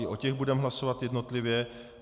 I o těch budeme hlasovat jednotlivě.